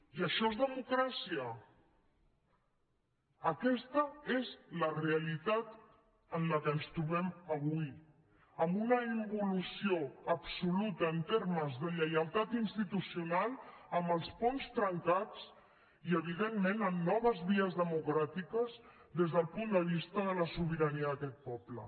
i això és democràcia aquesta és la realitat en què ens trobem avui amb una involució absoluta en termes de lleialtat institucional amb els ponts trencats i evidentment amb noves vies democràtiques des del punt de vista de la sobirania d’aquest poble